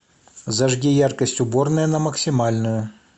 зажги яркость уборная на максимальную